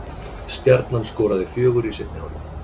Stjarnan skoraði fjögur í seinni hálfleik